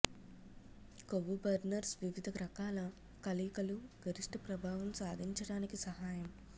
కొవ్వు బర్నర్స్ వివిధ రకాల కలయికలు గరిష్ట ప్రభావం సాధించడానికి సహాయం